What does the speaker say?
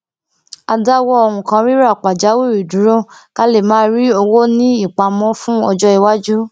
a dáwọ nnkan rírà pàjáwìrì dúró ká lè máa ní owó ní ìpamọ fún ọjọiwájú